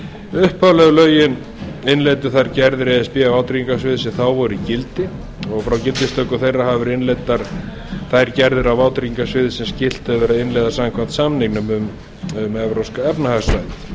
upphaflegu lögin innleiddu þær gerðir e s b á vátryggingasviði sem þá voru í gildi frá gildistöku þeirra hafa verið innleiddar þær gerðir á vátryggingasviði sem skylt hefur verið að innleiða samkvæmt samningnum um evrópska efnahagssvæðið